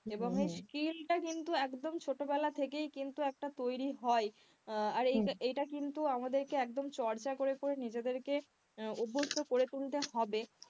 এবং এই skill টা কিন্তু একদম ছোটবেলা থেকেই কিন্তু একটা তৈরি হয় আর এটা কিন্তু আমাদেরকে একদম চর্চা করে করে নিজেদেরকে অভ্যস্ত করে তুলতে হবে,